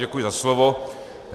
Děkuji za slovo.